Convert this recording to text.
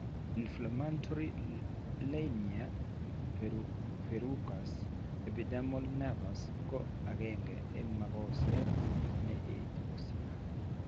Inflammatory linear verrucous epidermal nevus ko aeng'e eng' mokoseet ne etu kosir.